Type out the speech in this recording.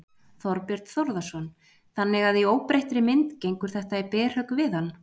Þorbjörn Þórðarson: Þannig að í óbreyttri mynd gengur þetta í berhögg við hann?